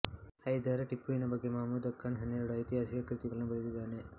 ಹೈದರ್ ಟಿಪ್ಪುವಿನ ಬಗ್ಗೆ ಮಹಮೂದ್ಖಾನ್ ಹನ್ನೆರಡು ಐತಿಹಾಸಿಕ ಕೃತಿಗಳನ್ನು ಬರೆದಿದ್ದಾನೆ